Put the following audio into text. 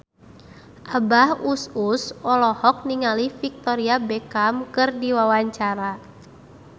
Abah Us Us olohok ningali Victoria Beckham keur diwawancara